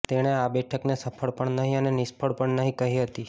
તેણે આ બેઠકને સફળ પણ નહીં અને નિષ્ફળ પણ નહીં કહી હતી